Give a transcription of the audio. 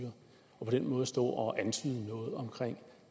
på den måde står og antyder noget om